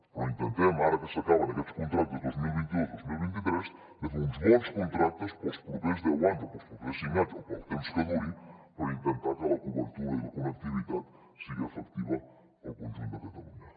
però intentem ara que s’acaben aquests contractes dos mil vint dos dos mil vint tres fer uns bons contractes per als propers deu anys o per als propers cinc anys o per al temps que durin per intentar que la cobertura i la connectivitat siguin efectives al conjunt de catalunya